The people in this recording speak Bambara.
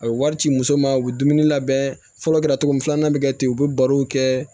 A bɛ wari ci muso ma u bɛ dumuni labɛn fɔlɔ kɛra cogo min filanan bɛ kɛ ten u bɛ barow kɛ